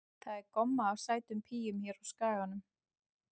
Það er gomma af sætum píum hér á Skaganum.